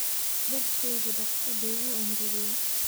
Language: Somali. Dharkaygii dhaqso bay u engegeen